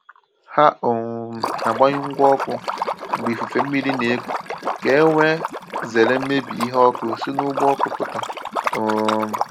Ha um na agbanyụ ngwa ọkụ mgbe ifufe mmiri na-eku ka e wee zere mmebi ihe ọkụ si n’ụgbọ ọkụ pụta. um